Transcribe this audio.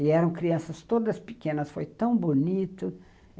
E eram crianças todas pequenas, foi tão bonito...